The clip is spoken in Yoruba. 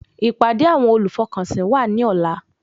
Ìpàdé àwọn olùfọkànsìn wà ní ọ̀la